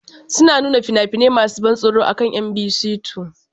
Suna nuna fina-finai masu ban tsoro akan Mbc 2.